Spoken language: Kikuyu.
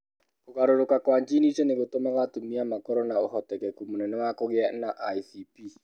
Kũgarũrũka kwa jini icio nĩ gũtũmaga atumia makorũo na ũhotekeku mũnene wa kũgĩa na ICP.